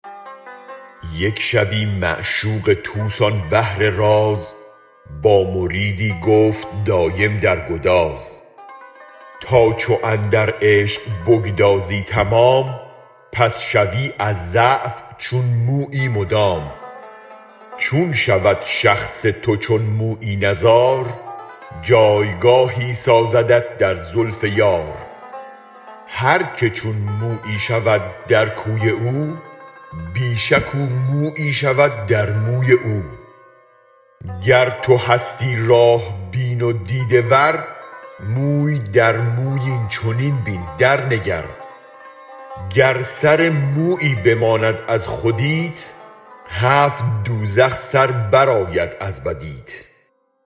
یک شبی معشوق طوس آن بحر راز با مریدی گفت دایم در گداز تا چو اندر عشق بگدازی تمام پس شوی از ضعف چون مویی مدام چون شود شخص تو چون مویی نزار جایگاهی سازدت در زلف یار هرک چون مویی شود در کوی او بی شک او مویی شود در موی او گر تو هستی راه بین و دیده ور موی در موی این چنین بین درنگر گر سر مویی بماند از خودیت هفت دوزخ سر برآید از بدیت